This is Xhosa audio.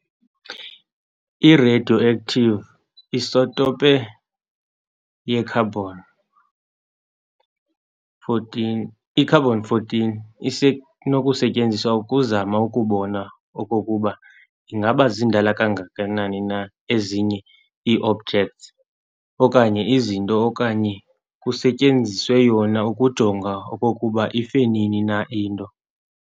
I-radioactive isotope ye-carbon, i-carbon-14, isenokusetyenziswa ukuzama ukubona okokuba ingaba zindala kangakanani na ezinye ii-objects okanye izinto okanye kusetyenziswe yona ukujonga okokuba ife nini na into.